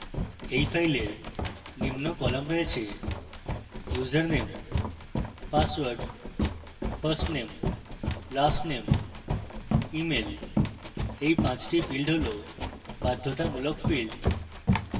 এই file নিম্ন column রয়েছে: